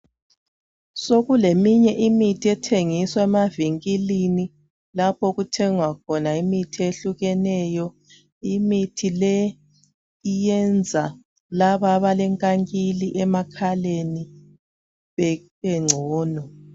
Sokule minye imithi ethengiswa emavingilini, lapho okuthengwa khona imithi ehlukahlukeneyo. Imithi le iyenza laba abalenkangile amakhaleni bebengcono.